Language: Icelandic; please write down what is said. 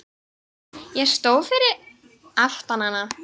Ég stóð fyrir aftan hana.